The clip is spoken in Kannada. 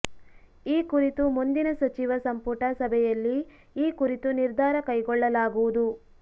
ಈ ಕುರಿತು ಮುಂದಿನ ಸಚಿವ ಸಂಪುಟ ಸಭೆಯಲ್ಲಿ ಈ ಕುರಿತು ನಿರ್ಧಾರ ಕೈಗೊಳ್ಳಲಾಗುವುದು